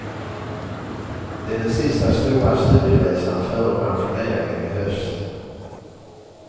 Det är den sista stora studieresan före pensioneringen i höst.